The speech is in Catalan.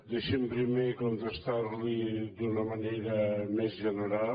deixi’m primer contestar li d’una manera més general